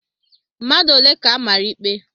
Mmadụ ole ka amara ikpe?